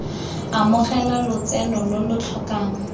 amogela lotseno lo lo tlhokang